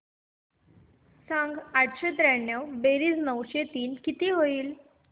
सांग आठशे त्र्याण्णव बेरीज नऊशे तीन किती होईल